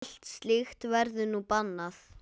Allt slíkt verður nú bannað.